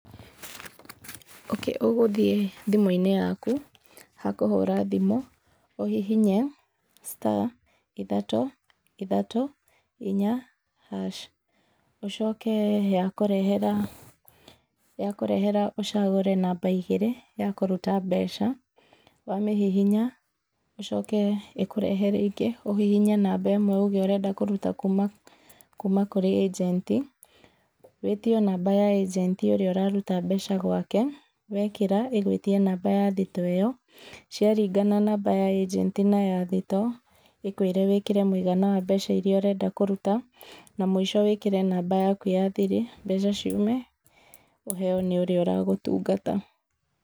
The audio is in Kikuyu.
Ũgũthiĩ thĩmũ-inĩ yaku hakũhũra thimũ ũhihinye star ithatũ ithatũ inya hash ũcoke yakũrehera, yakũrehera ũcagũre namba igirĩ ya kũruta mbeca, wamĩhihinya ũcoke ĩkũrehere ingĩ ũhihinye namba ĩmwe ũge ũrenda kũruta kuma kũrĩ ajenti. Wĩtio namba ya ajenti ũrĩa ũraruta mbeca gũake, wĩkĩra ĩgũĩtĩe namba ya thitoo ĩyo, ciaringana namba ya ajenti na thitoo ĩkũĩre wĩkĩre mũigana wa mbeca iria ũrenda kũruta na mũico wĩkĩre namba yaku ya thiri, mbeca ciume, ũheo nĩ ũrĩa ũra gũtungata.